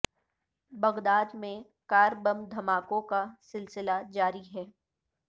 Baghdad میں car bomb دھماکوں کا سلسلہ جاری ہے